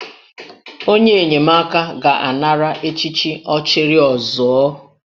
Onye enyemaka ga-anara echichi 'Ọchịrịọzụọ'